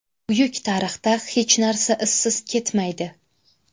Buyuk tarixda hech narsa izsiz ketmaydi.